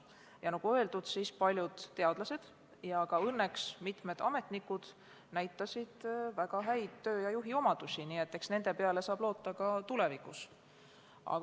Ja nagu öeldud, näitasid paljud teadlased ja õnneks ka mitmed ametnikud väga häid töötulemusi ja juhiomadusi, nii et eks nende peale saab loota ka tulevikus.